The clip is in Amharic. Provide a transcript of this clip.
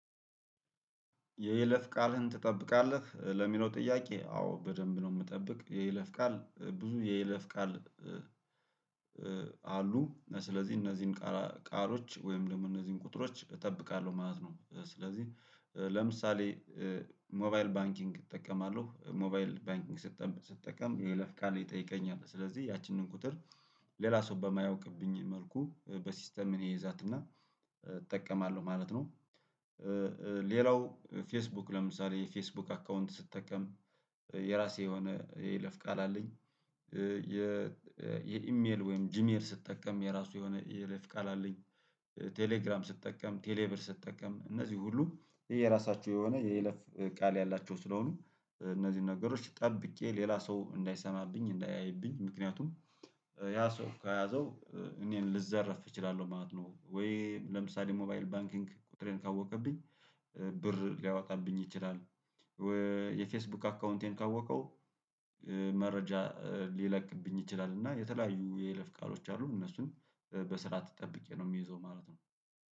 የይለፍ ቃልህን ትጠብቃለህ ለሚለው ጥያቄ? አዎ በደንብ ነው የምጠብቅ የይለፍ ቃል ብዙ የይለፍ ቃል አሉ ስለዚህ እነዚህን ቃሎች ወይም ደግሞ እነዚህን ቁጥሮች እጠብቃለሁ ማለት ነው። ስለዚህ ለምሳሌ ሞባይል ባንኪንግ እጠቀማለሁ ሞባይል ባንኪንግ ስትጠቀም የይለፍ ቃል ይጠይቀኛል ስለዚህ ያቺንን ቁጥር ሌላ ሰው በማያውቅብኝ መልኩ በሲስተም እኔ እይዛትና እጠቀማለሁ ማለት ነው። ሌላው ፌስቡክ ለምሳሌ የፌስቡክ አካውንት ስጠቀም የራሴ የሆነ የይለፍ ቃል አለኝ። የ የኢሜል ወይም ጂሜል ስትጠቀም የራሱ የሆነ የይለፍ ቃል አለኝ። ቴሌግራም ስጠቀም ቴሌብር ስጠቀም እነዚህ ሁሉ የራሳችሁ የሆነ የይለፍ ቃል ያላችሁ ስለሆኑ እነዚህን ነገሮች ጠብቄ ሌላ ሰው እንዳይሰማብኝ እንዳያይብኝ ምክንያቱም ያ ሰው ከያዘው እኔን ልዘረፍ እችላለሁ ማለት ነው። ወይ ለምሳሌ ሞባይል ባንኪንግ ቁጥሬን ካወቀብኝ ብር ሊያወጣብኝ ይችላል። የፌስቡክ አካውንቴን ካወቀው መረጃ ሊለቅብኝ ይችላል። እና የተለያዩ የይለፍ ቃሎች አሉ እነሱን በስርዓት ጠብቄ ነው የሚይዘው ማለት ነው።